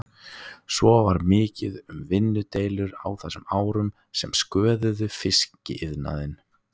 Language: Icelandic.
Svo var mikið um vinnudeilur á þessum árum sem sköðuðu fiskiðnaðinn.